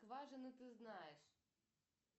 кважина ты знаешь